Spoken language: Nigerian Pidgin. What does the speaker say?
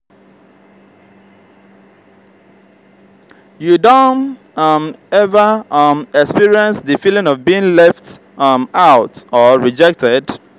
you don um ever um experience di feeling of being left um out or rejected?